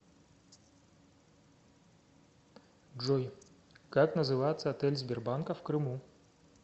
джой как называется отель сбербанка в крыму